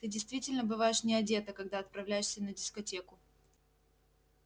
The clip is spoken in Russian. ты действительно бываешь не одета когда отправляешься на дискотеку